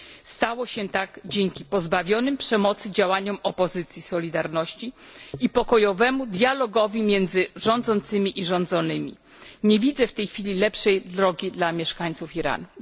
Stało się tak dzięki pozbawionym przemocy działaniom opozycji Solidarności i pokojowemu dialogowi między rządzącymi i rządzonymi. Nie widzę w tej chwili lepszej drogi dla mieszkańców Iranu.